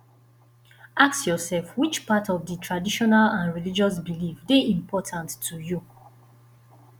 ask yourself which part of di traditional and religious belief de important to you